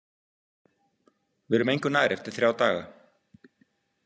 Við erum engu nær eftir þrjá daga.